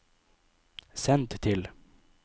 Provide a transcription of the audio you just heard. send til